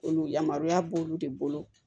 Olu yamaruya b'olu de bolo